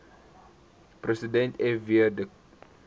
president fw de